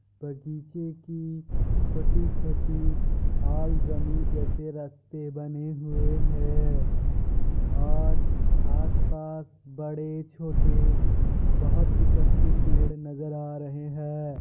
बगीचे की छोटी-छोटी जैसे रास्ते बने हुए है और आस पास बड़े छोटे बोहत किस्म के पेड़ नज़र आ रहे है ।